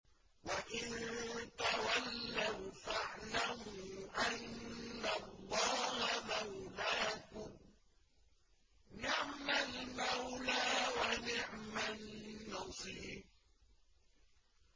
وَإِن تَوَلَّوْا فَاعْلَمُوا أَنَّ اللَّهَ مَوْلَاكُمْ ۚ نِعْمَ الْمَوْلَىٰ وَنِعْمَ النَّصِيرُ